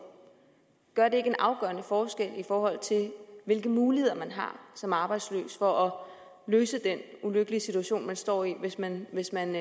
er det ikke en afgørende forskel i forhold til hvilke muligheder man har som arbejdsløs for at løse den ulykkelige situation man står i hvis man hvis man